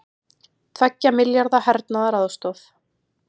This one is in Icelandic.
Tveggja milljarða hernaðaraðstoð